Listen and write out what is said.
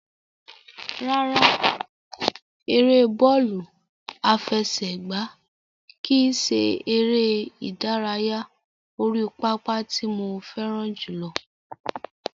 Rárá, ère bọ́ọ̀lù àfẹsẹ̀gbá kìí ṣe ère ìdárayá orí pápá tí mo fẹ́ràn jùlọ.